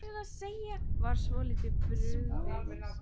Var svolítið brugðið